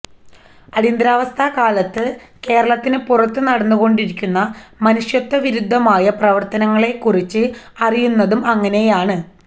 അടിയന്തരാവസ്ഥക്കാലത്ത് കേരളത്തിനു പുറത്ത് നടന്നുകൊണ്ടിരുന്ന മനുഷ്യത്വവിരുദ്ധമായ പ്രവര്ത്തനങ്ങളെക്കുറിച്ച് അറിയുന്നതും അങ്ങനെയാണ്